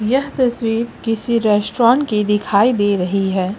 यह तस्वीर किसी रेस्टोरेंट की दिखाई दे रही है।